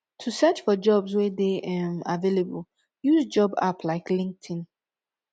to search for jobs wey de um available use job app like linkedin